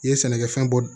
I ye sɛnɛkɛfɛn bɔ